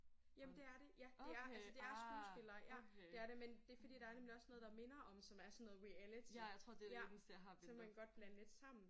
Jamen det er det. Ja det er altså det er skuespillere ja det er det. Men fordi der er nemlig også noget der minder om som er sådan noget reality så man kan godt blande det lidt sammen